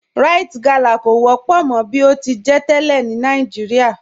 Ríte galá kọ wọ́pọ̀ mọ̀ bí o ti jẹ́ tẹ́lẹ̀ ni Nàìjíríà